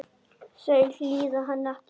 Þau hlýða henni ekki.